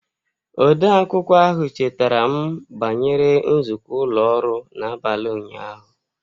Odeakwụkwọ ahụ chetaram banyere nzukọ ụlọ ọrụ n'abalị ụnyaahụ.